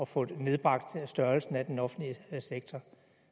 få nedbragt størrelsen af den offentlige sektor